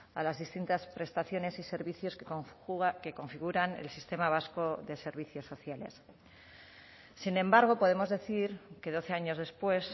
a las distintas prestaciones y servicios que configuran el sistema vasco de servicios sociales sin embargo podemos decir que doce años después